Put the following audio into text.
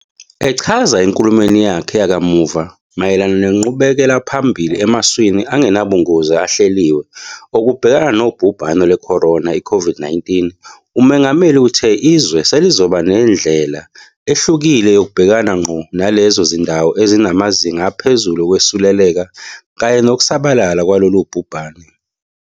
Echaza enkulumweni yakhe yakamuva mayelana nenqubekelaphambili emaswini angenabungozi ahleliwe okubhekana nobhubhane lwe-corona, i-COVID-19, uMongameli uthe izwe selizoba nendlela ehlukile yokubhekana ngqo nalezo zindawo ezinamazinga aphezulu okwesuleleka kanye nokusabalala kwalolu bhubhane.